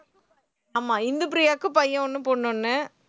ஆமா இந்துப்பிரியாவுக்கு பையன் ஒண்ணு, பொண்ணு ஒண்ணு